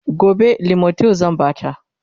gobe limotyl zan Bata